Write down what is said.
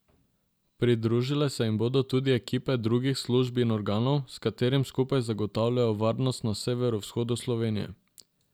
Pridružile se jim bodo tudi ekipe drugih služb in organov, s katerimi skupaj zagotavljajo varnost na severovzhodu Slovenije.